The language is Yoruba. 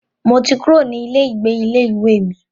Mo ti kúrò ní ilé ìgbé ilé ìwé mi.